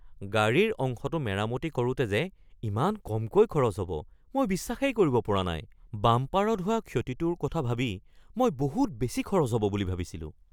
গাড়ীৰ অংশটো মেৰামতি কৰোঁতে যে ইমান কমকৈ খৰচ হ’ব মই বিশ্বাসেই কৰিব পৰা নাই! বাম্পাৰত হোৱা ক্ষতিটোৰ কথা ভাবি মই বহুত বেছি খৰচ হ’ব বুলি ভাবিছিলোঁ।